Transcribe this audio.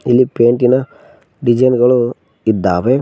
ಇಲ್ಲಿ ಪೈಂಟಿನ ಡಿಸೈನ್ ಗಳು ಇದ್ದಾವೆ.